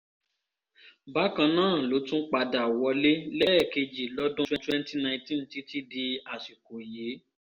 bákan náà ló tún padà wọlé lẹ́ẹ̀kejì lọ́dún twenty nineteen títí di àsìkò yìí